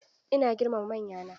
Ina girmama manyana.